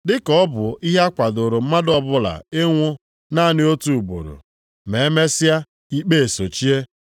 Dị ka ọ bụ ihe a kwadooro mmadụ ọbụla ịnwụ naanị otu ugboro, ma e mesịa ikpe esochie,